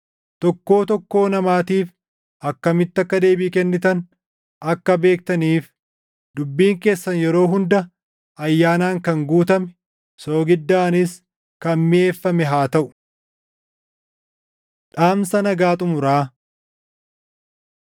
Tokkoo tokkoo namaatiif akkamitti akka deebii kennitan akka beektaniif dubbiin keessan yeroo hunda ayyaanaan kan guutame, soogiddaanis kan miʼeeffame haa taʼu. Dhaamsa Nagaa Xumuraa